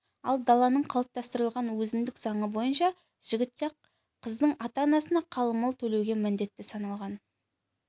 ал даланың қалыптастырған өзіндік заңы бойынша жігіт жақ қыздың ата-анасына қалың мал төлеуге міндетті саналған